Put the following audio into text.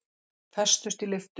Festust í lyftu